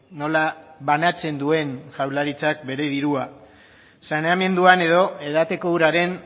nola banatzen duen jaurlaritzak bere dirua saneamenduan edo edateko uraren